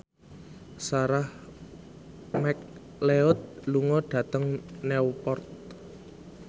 Sarah McLeod lunga dhateng Newport